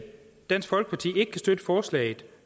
dansk folkeparti ikke kan støtte forslaget